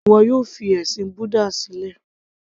Ìgbà wo ni ìwọ yóò fi ẹ̀sìn búdà sílẹ̀